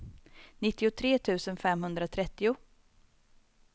nittiotre tusen femhundratrettio